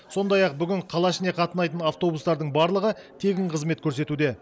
сондай ақ бүгін қала ішіне қатынайтын автобустардың барлығы тегін қызмет көрсетуде